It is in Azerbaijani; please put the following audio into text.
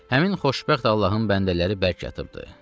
Həmin xoşbəxt Allahın bəndələri bərk yatıbdı.